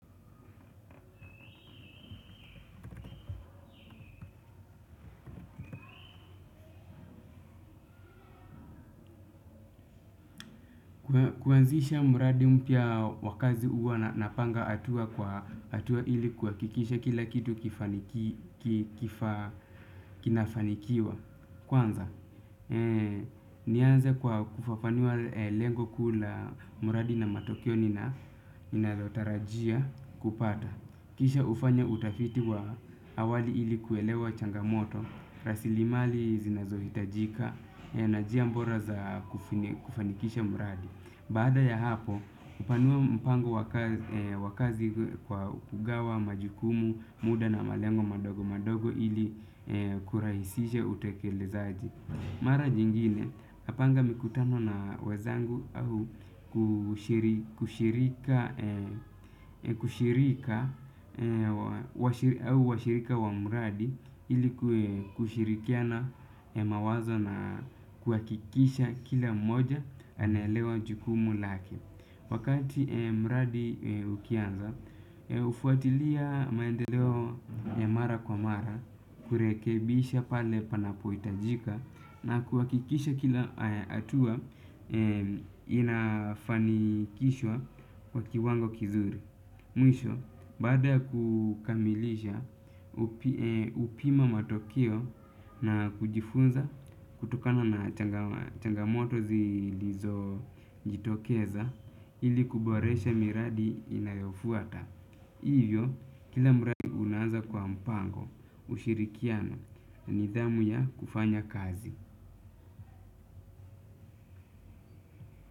Kuanzisha muradi mpya wa kazi huwa na napanga atua kwa atua ili kuhakikisha kila kitu kinafanikiwa. Kwanza, nianze kwa kufafanuwa lengo kuu la muradi na matokeo nina ninalo tarajia kupata. Kisha ufanya utafiti wa awali ili kuelewa changamoto, rasilimali zinazohitajika, na jia mbora za kufanikisha muradi. Baada ya hapo, upanua mpango wa kazi kwa kugawa, majukumu, muda na malengo madogo madogo ili kurahisisha utekelezaji. Mara nyingine, napanga mikutano na wezangu au washirika wa mradi ili kuwe kushirikiana mawazo na kuakikisha kila mmoja anaelewa jukumu lake. Wakati mradi ukianza, ufuatilia maendeleo ya mara kwa mara, kurekebisha pale panapo itajika na kuhakikisha kila atua inafanikishwa kwa kiwango kizuri. Mwisho, baada ya kukamilisha, upima matokio na kujifunza kutokana na changamoto zilizo jitokeza ili kuboresha miradi inayofuata. Hivyo, kila muradi una anza kwa mpango ushirikiano na nidhamu ya kufanya kazi.